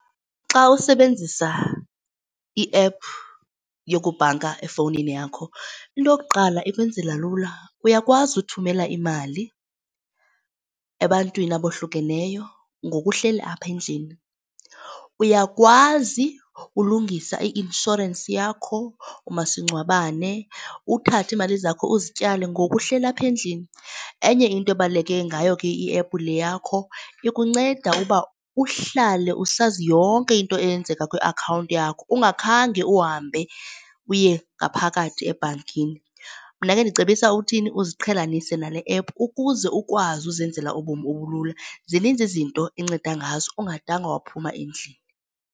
Xa usebenzisa iephu yokubhanka efowunini yakho into yokuqala ikwenzela lula, uyakwazi uthumela imali ebantwini abohlukeneyo ngoku uhleli apha endlini. Uyakwazi ulungisa i-inshorensi yakho, umasingcwabane, uthathe iimali zakho uzityale ngoku uhleli apha endlini. Enye into ebaluleke ngayo ke iephu le yakho ikunceda ukuba uhlale usazi yonke into eyenzeka kwi-akhawunti yakho, ungakhange uhambe uye ngaphakathi ebhankini. Mna ke ndicebisa uthini, uziqhelanisa nale ephu ukuze ukwazi uzenzela ubomi obulula zininzi izinto enceda ngazo ungadanga waphuma endlini.